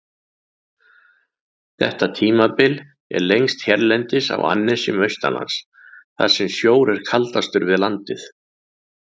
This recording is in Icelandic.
Þetta tímabil er lengst hérlendis á annesjum austanlands, þar sem sjór er kaldastur við landið.